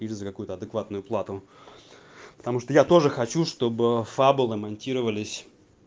из за какую-то адекватную плату потому что я тоже хочу чтобы фабулы монтировались